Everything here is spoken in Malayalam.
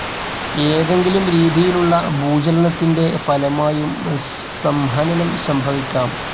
ഏതെങ്കിലും രീതിയിലുള്ള ഭൂചലനത്തിന്റെ ഫലമായും സംഹനനം സംഭവിക്കാം.